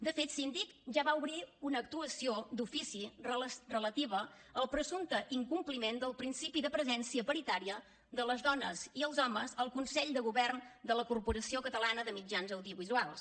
de fet síndic ja va obrir una actuació d’ofici relativa al presumpte incompliment del principi de presència paritària de les dones i els homes al consell de govern de la corporació catalana de mitjans audiovisuals